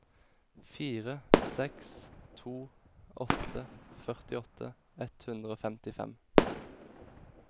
fire seks to åtte førtiåtte ett hundre og femtifem